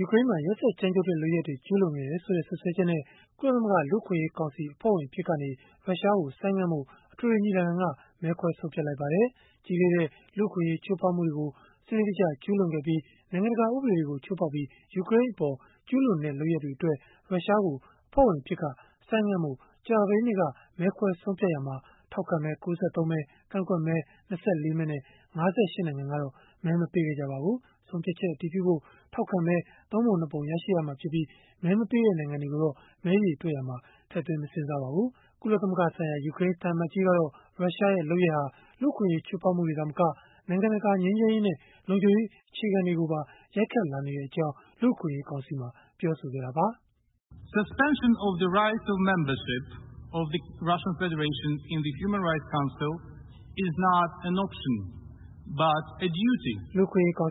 ူကရိန်းမှာ ရက်စက်ကြမ်းကြုတ်တဲ့ လုပ်ရပ်တွေ ကျုးလွန်ခဲ့တယ်ဆိုတဲ့ စွပ်စွဲချက်နဲ့ ကုလသမဂ္ဂ လူ့အခွင့်အရေးကောင်စီ အဖွဲ့ဝင် အဖြစ်ကနေ ရုရှားကို ဆိုင်းငံ့ထားဖို့ အထွေထွေညီလာခံက မဲခွဲဆုံးဖြတ်လိုက်ပါတယ်။ ကြီးလေးတဲ့ လူ့အခွင့်အရေး ချိုးဖောက်မှုတွေကို စနစ်တကျ ကျုးလွန်ခဲ့ပြီး နိုင်ငံတကာ ဥပဒေတွေကို ချိုးဖောက်ပြီး ယူကရိန်းအပေါ် ကျုးလွန်ခဲ့တဲ့ လုပ်ရပ်တွေအတွက် ရုရှားကို အဖွဲ့ဝင်အဖြစ်က ဆိုင်းငံ့ထားဖို့ ကြာသပတေးနေ့က မဲခွဲဆုံးဖြတ်ရာမှာ ထောက်ခံမဲ ၉၃ မဲ၊ ကန့်ကွက်မဲ ၂၄ မဲနဲ့ ၅၈ နိုင်ငံကတော့ မဲမပေးခဲ့ကြပါဘူး။ ဆုံးဖြတ်ချက် အတည်ပြုဖို့ ထောက်ခံမဲ ၃ ပုံ ၂ ပုံ ရရှိရမှာဖြစ်ပြီး၊ မဲမပေးတဲ့ နိုင်ငံတွေကိုတော့ မဲရေတွက်ရာမှာ ထည့်သွင်းမစဉ်းစားပါဘူး။ ကုလသမဂ္ဂဆိုင်ရာ ယူကရိန်း သံအမတ်ကြီးကတော့ ရုရှားရဲ့ လုပ်ရပ်ဟာ လူ့အခွင့်အရေး ချိုးဖောက်မှုတွေ သာမက၊ နိုင်ငံတကာ ငြိမ်းချမ်းရေးနဲ့ လုံခြုံရေး အခြေခံတွေကိုပါ ရိုက်ခတ်လာနေကြောင်း လူ့အခွင့်အရေးကောင်စီမှာ ပြောဆိုလိုက်တာပါ။ “လူ့အခွင့်အရေးကောင်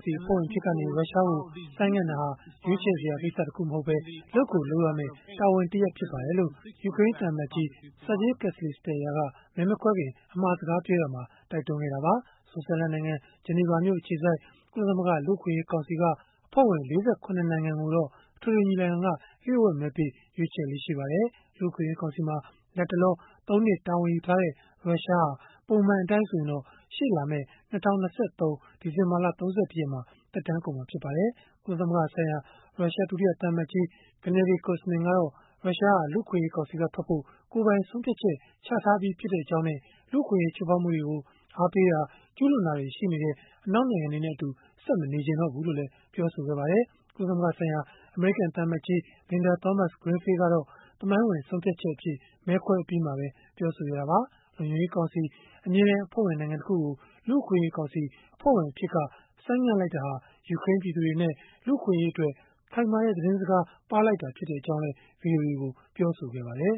စီ အဖွဲ့ဝင် အဖြစ်ကနေ ရုရှားကို ဆိုင်းငံ့တာဟာ ရွေးချယ်စရာကိစ္စတခု မဟုတ်ဘဲ၊ လုပ်ကိုလုပ်ရမယ့် တာဝန်တရပ် ဖြစ်ပါတယ်။” လို့ ယူကရိန်း သံအမတ်ကြီး Sergiy Kyslytsya က မဲမခွဲခင် အမှာစကားပြောရာမှာ တိုက်တွန်းလိုက်တာပါ။ ဆွစ်ဇာလန်နိုင်ငံ ဂျနီဗာမြို့ အခြေစိုက် ကုလသမဂ္ဂ လူ့အခွင့်အရေးကောင်စီက အဖွဲ့ဝင် ၄၇ နိုင်ငံကိုတော့ အထွေထွေညီလာခံက လျို့ဝှက်မဲပေး ရွေးချယ်လေ့ ရှိပါတယ်။ လူ့အခွင့်အရေးကောင်စီမှာ လတ်တလော ၃ နှစ်တာဝန်ယူထားတဲ့ ရုရှားဟာ ပုံမှန်အတိုင်းဆိုရင်တော့ ရှေ့လာမယ့် ၂၀၂၃ ဒီဇင်ဘာလ ၃၁ ရက်မှာ သက်တမ်းကုန်မှာ ဖြစ်ပါတယ်။ ကုလသမဂ္ဂဆိုင်ရာ ရုရှား ဒုတိယသံအမတ်ကြီး Gennady Kuzmin ကတော့ ရုရှားဟာ လူ့အခွင့်အရေးကောင်စီက ထွက်ဖို့ ကိုယ်ပိုင်ဆုံးဖြတ်ချက် ချထားပြီးဖြစ်ကြောင်းနဲ့ လူ့အခွင့်အရေး ချိုးဖောက်မှုတွေကို အားပေးတာ၊ ကျုးလွန်တာတွေ ရှိနေတဲ့ အနောက်နိုင်ငံတွေနဲ့အတူ ဆက်မနေချင်တော့ဘူးလို့လည်း ပြောပါတယ်။ ကုလသမဂ္ဂဆိုင်ရာ အမေရိကန် သံအမတ်ကြီး Linda Thomas-Greenfield ကတော့ သမိုင်းဝင်ဆုံးဖြတ်ချက်အဖြစ် မဲခွဲအပြီးမှာ ပြောဆိုခဲ့တာပါ။ လုံခြုံရေးကောင်စီ အမြဲတမ်း အဖွဲ့ဝင် နိုင်ငံ တခုကို လူ့အခွင့်အရေးကောင်စီ အဖွဲ့ဝင်အဖြစ်က ဆိုင်းငံ့လိုက်တာဟာ ယူကရိန်းပြည်သူတွေနဲ့ လူ့အခွင့်အရေးအတွက် ခိုင်မာတဲ့ သတင်းစကား ပါးလိုက်တာဖြစ်ကြောင်း ဗွီအိုအေကို ပြောဆိုခဲ့ပါတယ်